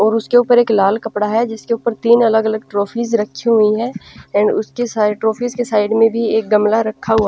और उसके ऊपर एक लाल कपड़ा है जिसके ऊपर तीन अलग अलग ट्रॉफीज रखी हुई हैं एंड उसके साई ट्रोफी के साइड में भी एक गमला रखा हुआ --